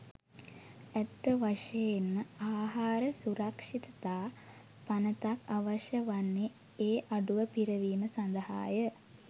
ඇත්ත වශයෙන්ම ආහාර සුරක්‍ෂිතතා පනතක් අවශ්‍ය වන්නේ ඒ අඩුව පිරවීම සඳහාය.